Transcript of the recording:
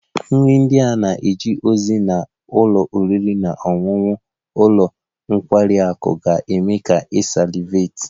Nri ndị a na-eje ozi na ụlọ oriri na ọṅụṅụ ụlọ nkwari akụ ga-eme ka ị salivate